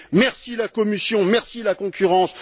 Merci la Commission, merci la concurrence.